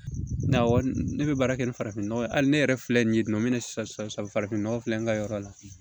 Ne wari ne bɛ baara kɛ ni farafin nɔgɔ ye hali ne yɛrɛ filɛ nin ye nɔ mi ni sisan farafin nɔgɔ filɛ nin ka yɔrɔ la